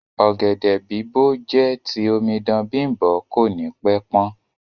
Ọ̀gẹ̀dẹ̀ bìbó jẹ ti omidan Bimbo ko ni pẹ pan.